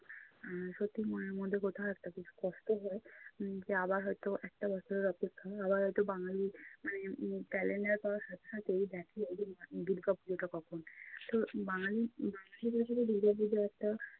আহ সত্যি মনের মধ্যে কোথাও একটা খুব কষ্ট হয় উম যে আবার হয়তো একটা বছরের অপেক্ষা। আবার হয়ত বাঙালি মানে উম calendar পাওয়ার সাথে সাথেই দেখে ওদের দুর্গাপূজাটা কখন। তো বাঙালি বাঙালিদের সাথে দুর্গাপূজোর একটা